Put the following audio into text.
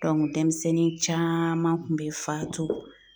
dɛmisɛnnin caaman kun bɛ faatu